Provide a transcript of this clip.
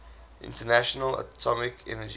international atomic energy